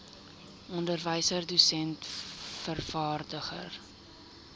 onderwyser dosent vervaardiger